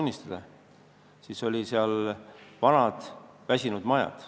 – sattusin, siis olid seal vanad väsinud majad.